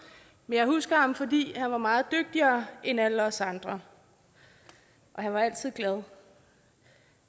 men jeg husker ham fordi han var meget dygtigere end alle os andre og han var altid glad